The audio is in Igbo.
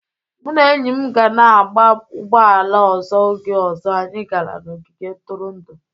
Mụ na enyi m ga na-agba ụgbọ ala ọzọ oge ọzọ anyị gara n'ogige ntụrụndụ.